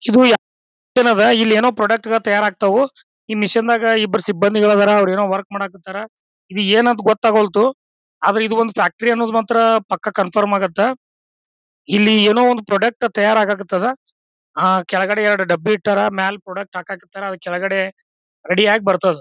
ಇದು ಯಾ ಇಲ್ಲಿ ಏನೋ ಪ್ರಾಡಕ್ಟ್ ಗಳ ತಯಾರಾಗ್ತವು. ಈ ಮೆಷಿನ್ ದಾಗ ಇಬ್ಬರು ಸಿಬಂದಿಗಳು ಇದ್ದಾರ ಅವ್ರು ಏನೋ ವರ್ಕ್ ಮಾಡಾಕ್ ಹತ್ತಾರ. ಇದು ಏನು ಅಂತ ಗೊತ್ತಾಗಲೊಲ್ದು ಆದರ ಇದು ಒಂದು ಫ್ಯಾಕ್ಟರಿ ಅನ್ನೋದು ಮಾತ್ರ ಪಕ್ಕ ಕನ್ಫರ್ಮ್ ಆಗುತ್ತ. ಇಲ್ಲಿ ಏನೋ ಒಂದು ಪ್ರಾಡಕ್ಟ್ ತಯಾರಾಗಕತ್ತದ ಆ ಕೆಳಗಡೆ ಎರಡು ಡಬ್ಬಿ ಇಟ್ಟಾರ ಮೇಲ್ ಪ್ರಾಡಕ್ಟ್ ಹಾಕಕ್ ಹತ್ತಾರ. ಕೆಳಗಡೆ ರೆಡಿ ಆಗಿ ಬರ್ತದ.